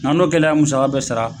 N'an n'o kɛla ka musaka bɛɛ sara